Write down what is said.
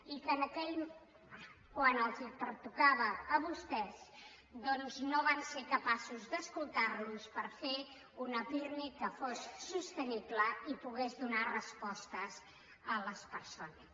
i que quan els pertocava a vostès doncs no van ser capaços d’escoltar los per fer un pirmi que fos sostenible i pogués donar respostes a les persones